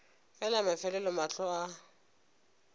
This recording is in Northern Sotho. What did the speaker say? ge la mafelelo mahlo a